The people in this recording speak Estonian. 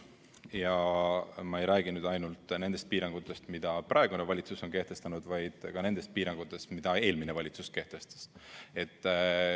Ja ma ei räägi nüüd ainult nendest piirangutest, mida praegune valitsus on kehtestanud, vaid ka nendest piirangutest, mida eelmine valitsus kehtestas.